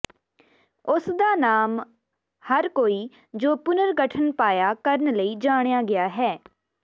ਉਸ ਦਾ ਨਾਮ ਹਰ ਕੋਈ ਜੋ ਪੁਨਰਗਠਨ ਪਾਇਆ ਕਰਨ ਲਈ ਜਾਣਿਆ ਗਿਆ ਹੈ